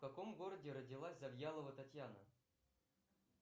в каком городе родилась завьялова татьяна